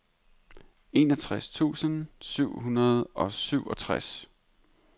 enogtres tusind syv hundrede og syvogtres